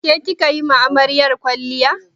Ke kika yi wa amaryar kwalliya?